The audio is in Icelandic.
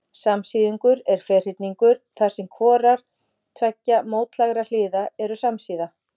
Samsíðungur er ferhyrningur þar sem hvorar tveggja mótlægra hliða eru samsíða.